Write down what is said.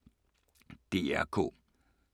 DR K